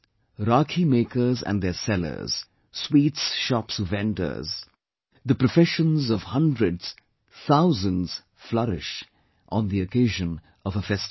Rakhi makers and their sellers, sweets shops vendors the professions of hundreds, thousands flourish on the occasion of a festival